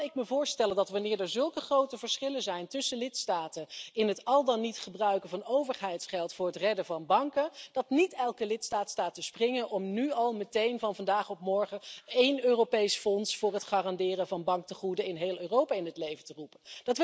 En dan kan ik me voorstellen dat, wanneer er zulke grote verschillen zijn tussen lidstaten in het al dan niet gebruiken van overheidsgeld voor het redden van banken, niet elke lidstaat staat te springen om nu al meteen van vandaag op morgen één Europees fonds voor het garanderen van banktegoeden in heel Europa in het leven te roepen.